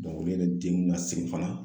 olu yɛrɛ den nn nasegin fana